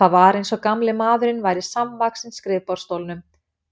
Það var eins og gamli maðurinn væri samvaxinn skrifborðsstólnum,